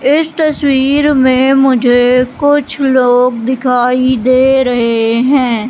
इस तस्वीर में मुझे कुछ लोग दिखाई दे रहे हैं।